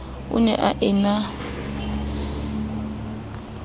o ne a e na